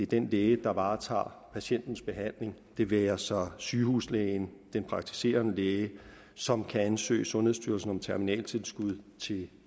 den læge der varetager patientens behandling det være sig sygehuslægen den praktiserende læge som kan ansøge sundhedsstyrelsen om terminaltilskud til